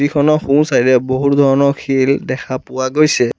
খনৰ সোঁছাইডে বহু ধৰণৰ শিল দেখা পোৱা গৈছে।